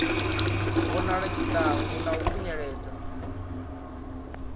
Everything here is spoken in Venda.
vhonale tshiṱangu na u khunyeledza